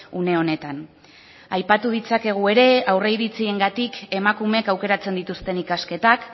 une honetan aipatu ditzakegu ere aurreiritziengatik emakumeek aukeratzen dituzten ikasketak